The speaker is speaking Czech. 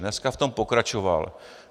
Dneska v tom pokračoval.